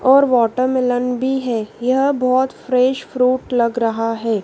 और वाटरमेलन भी है यह बहोत फ्रेश फ्रूट लग रहा है।